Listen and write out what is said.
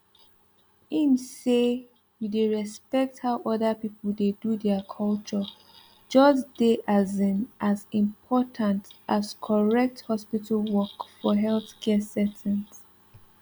ehm say you dey respect how other people dey do their culture just dey asin as important as correct hospital work for healthcare settings